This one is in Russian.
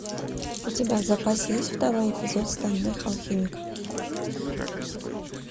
у тебя в запасе есть второй эпизод стальной алхимик